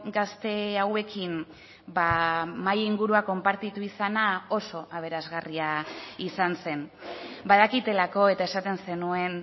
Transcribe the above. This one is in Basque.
gazte hauekin mahai ingurua konpartitu izana oso aberasgarria izan zen badakitelako eta esaten zenuen